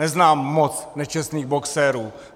Neznám moc nečestných boxerů.